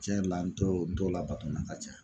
Tiɲɛ yɛrɛ la n t'o n t'o labato la ka ca